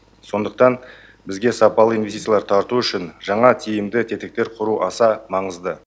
сондықтан бізге сапалы инвестициялар тарту үшін жаңа тиімді тетіктер құру аса маңызды